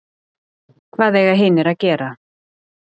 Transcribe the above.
Hvað eiga hinir að gera?